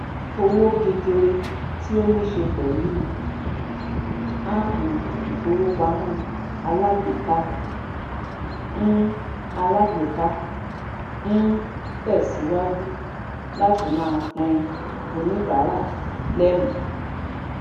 owó gegere tí o ni se pẹlú um appu ifowopamọ alágbèéká n alágbèéká n tẹsiwaju láti máa pin oníbàrà lẹmí